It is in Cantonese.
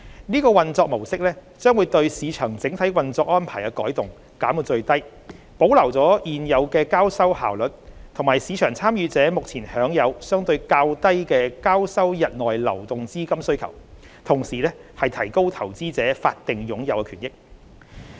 這個運作模式將對市場整體運作安排的改動減到最低，既保留了現有的交收效率，以及市場參與者目前享有相對較低的交收日內流動資金需求，同時亦提高投資者法定擁有權益。